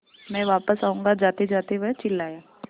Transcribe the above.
मैं वापस आऊँगा जातेजाते वह चिल्लाया